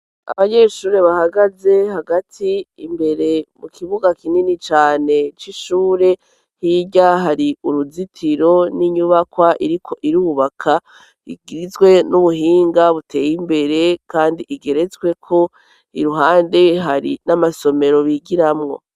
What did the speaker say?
Abanyeshure bahagaze hagati imbere mu kibuga kinini cane c'ishure, h'irya hari uruzitiro n'inyubakwa ro irubaka igizwe n'ubuhinga buteye imbere kandi igeretswe ko iruhande hari n'amasomero bigiramwo.